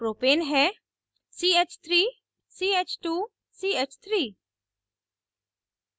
propane है ch3ch2ch3